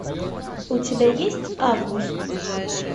у тебя есть август